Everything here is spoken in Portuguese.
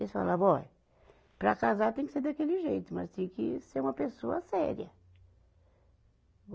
Eles falavam, ó, para casar tem que ser daquele jeito, mas tem que ser uma pessoa séria.